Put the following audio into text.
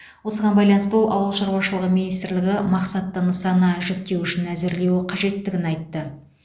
осыған байланысты ол ауыл шаруашылығы министрлігі мақсатты нысана жіктеуішін әзірлеуі қажеттігін айтты